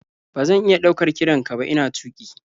Ba zan iya ɗaukar kiran ka ba ina tuƙi.